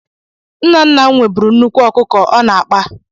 Nna nna m nweburu nnukwu ọkụkọ ọ na-akpa.